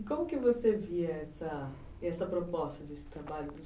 E como que você via essa proposta desse trabalho